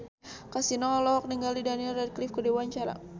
Kasino olohok ningali Daniel Radcliffe keur diwawancara